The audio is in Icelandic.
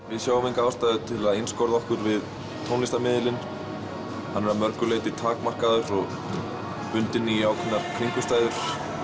við sjáum enga ástæðu til að einskorða okkur við tónlistarmiðilinn hann er að mörgu leyti takmarkaður og bundinn í ákveðnar kringumstæður